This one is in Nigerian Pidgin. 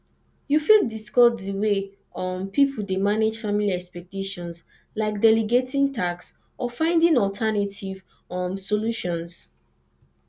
you fit discuss di way um people dey manage family expectations like delegating tasks or finding alternative um solutions